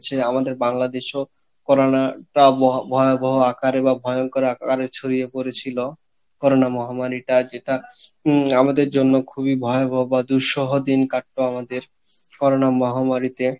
আমাদের বাংলাদেশেও Corona টা ভয়াবহ আকারে বা ভয়ঙ্কর আকারে ছড়িয়ে পরেছিল, Corona মহামারী টা যেটা উম আমাদের জন্য খুবই ভয়াবহ বা দিন কাটতো আমাদের Corona মহামারী তে